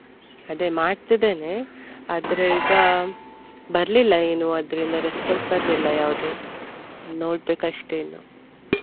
ಅದೆ ಮಾಡ್ತಿದ್ದೇನೆ ಆದ್ರೆ ಈಗ ಬರ್ಲಿಲ್ಲ ಏನು ಅದ್ರಿಂದ response ಬರ್ಲಿಲ್ಲ ಯಾವ್ದು ನೋಡ್ಬೇಕಷ್ಟೆ ಇನ್ನು.